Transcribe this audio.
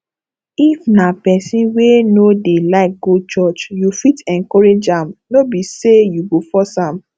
if na person wey no dey like go church you fit encourage am no be sey you go force am